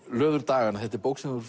löður daganna þetta er bók sem þú